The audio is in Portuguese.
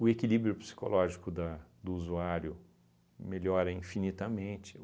O equilíbrio psicológico da do usuário melhora infinitamente.